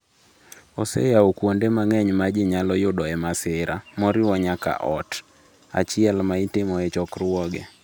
Oseyawo kuonde mang’eny ma ji nyalo yudoe masira, moriwo nyaka ot achiel ma itimoe chokruoge.